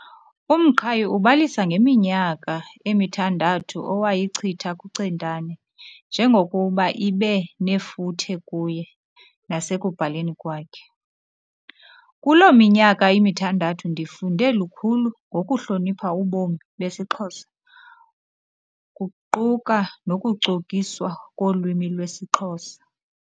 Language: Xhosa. UMqhayi ubalisa ngeminyaka emithandathu awayichitha kuCentane njengokuba ibe nefuthe kuye nasekubhaleni kwakhe "Kuloo minyaka mithandathu ndifunde lukhulu ngokuhlonipha ubomi besiXhosa, kuquka nokucokiswa kolwimi lwesiXhosa.